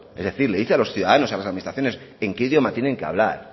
es decir le dice a los ciudadanos a las administraciones en qué idioma tienen que hablar